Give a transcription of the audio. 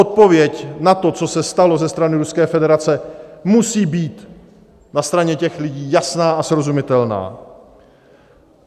Odpověď na to, co se stalo ze strany Ruské federace, musí být na straně těch lidí jasná a srozumitelná.